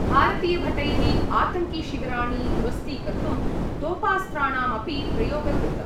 भारतीयभटैः आतङ्किशिविराणि ध्वस्तीकर्तुं तोपास्त्राणामपि प्रयोग कृत।